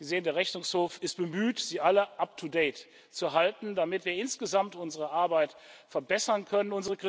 Sie sehen, der Rechnungshof ist bemüht, Sie alle up to date zu halten, damit wir insgesamt unsere Arbeit verbessern können.